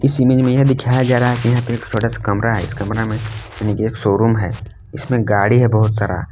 इस इमेज में यह दिखाया जा रहा है यहां पे एक छोटा सा कमरा है इस कमरा में एक शोरूम है इसमें गाड़ी है बहोत सारा।